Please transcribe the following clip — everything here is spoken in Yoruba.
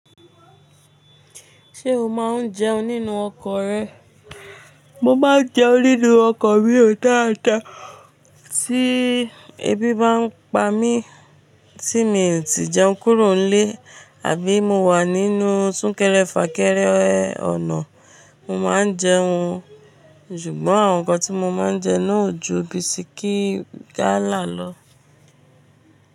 Ṣé o máa ń jẹun nínú ọkọ̀ rẹ? Mo máa ń jẹun nínú ọkọ̀ míò dáadáa. Tí ebi bá ń pa mí tí mi ò tí ì jẹun kúrò nílé àbí mo wà nínú súnkẹrẹ fà kẹrẹ ọ̀nà, mo máa ń jẹun. Ṣùgbọ́n àwọn nǹkan tí mo máa ń jẹun náà ò ju bisikí gálà lọ.